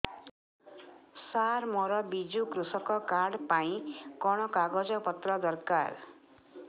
ସାର ମୋର ବିଜୁ କୃଷକ କାର୍ଡ ପାଇଁ କଣ କାଗଜ ପତ୍ର ଦରକାର